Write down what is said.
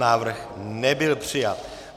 Návrh nebyl přijat.